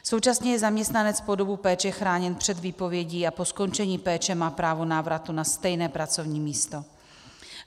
Současně je zaměstnanec po dobu péče chráněn před výpovědí a po skončení péče má právo návratu na stejné pracovní místo.